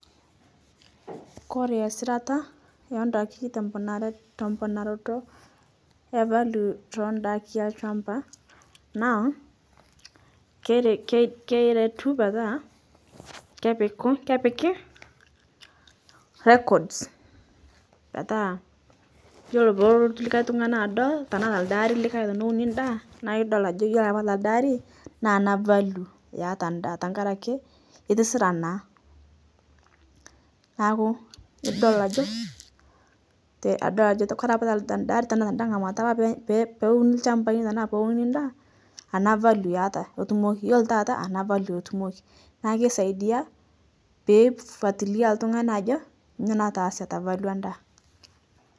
kore esirata ondaki temponar temponaroto e valio to indaki elchamba, naa ker keretu petaa kepiku kepiki records petaa yuolo poolotu likae tung'ani adol tanaa telde aari likae teneuni ndaa naa idol ajo kore apa te alde aari naa ana valio eeta ndaa tangarake itisira naa naaku idol ajo te idol kore te tealde ari tana tada ng'amata apa peye peeuni lchambai tana peeuni ndaa ana valio eata eitumoki yuolo taata ana eitumoki naa keisaidia peifuatilia ltung'ani ajo nyo nataase te valio endaa.